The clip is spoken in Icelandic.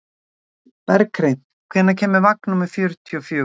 Berghreinn, hvenær kemur vagn númer fjörutíu og fjögur?